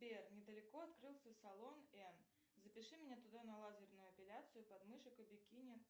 сбер недалеко открылся салон н запиши меня туда на лазерную эпиляцию подмышек и бикини